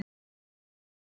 taka eftir þessu